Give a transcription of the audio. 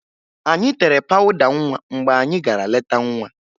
Anyị tere pawụda nwa mgbe anyị gara leta nwa